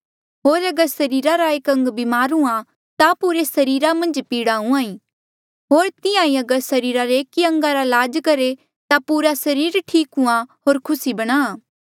होर अगर सरीरा रे एक अंग बीमार हुंहां ता पुरे सरीरा मन्झ पीड़ा हुंहां ऐें होर तिहां ही अगर सरीरा रे एकी अंगा रा लाज करहे ता पूरा सरीर ठीक हुंहां होर खुसी बणा